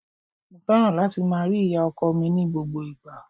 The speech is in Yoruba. Mo fẹ́ràn láti máa rí ìyá-ọkọ mi ní gbogbo ìgbà.